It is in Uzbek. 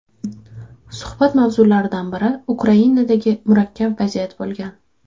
Suhbat mavzularidan biri Ukrainadagi murakkab vaziyat bo‘lgan.